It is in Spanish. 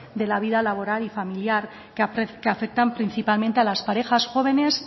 de la vida laboral y familiar que afectan principalmente a las parejas jóvenes